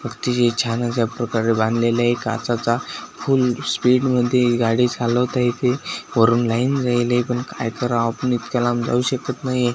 फक्त ही छानचंय एक प्रकारे बांधलेलेय काचचा फुल स्पीड मध्ये गाडी चालवता येते वरून लाईन जायले पण काय करावं आपण इतक्या लांब जाऊ शकत नाही.